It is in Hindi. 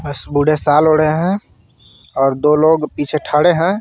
बस बूढ़े साल ओढ़े है और दो लोग पीछे ठड़े है.